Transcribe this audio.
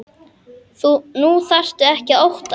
Nú þarftu ekkert að óttast.